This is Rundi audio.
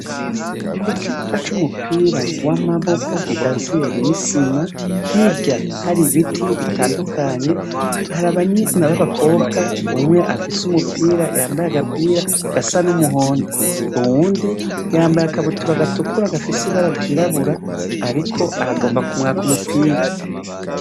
Ku kibuka c'umupira w'amaboko gikaziye n'isima hirya hari ibiti bitandukanye, hari abana b'abakobwa umwe afise umupira yambaye agapira gasa n'umuhondo, uwundi yambaye akabutura gatukura gafise ibara ryirabura ariko aragomba kumwaka umupira.